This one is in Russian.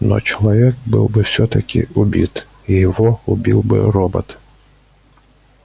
но человек был бы всё-таки убит и его убил бы робот